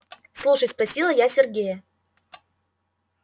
слушай спросила я сергея